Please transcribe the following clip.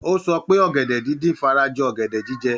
Ó sọ pé ọ̀gẹ̀dẹ̀ díndín fara jọ ọ̀gẹ̀dẹ̀ jíjẹ.